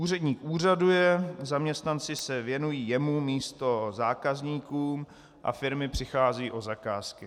Úředník úřaduje, zaměstnanci se věnují jemu místo zákazníkům a firmy přicházejí o zakázky.